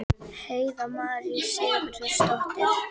Heiða María Sigurðardóttir.